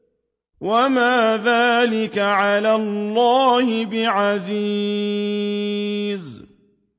وَمَا ذَٰلِكَ عَلَى اللَّهِ بِعَزِيزٍ